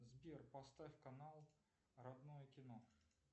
сбер поставь канал родное кино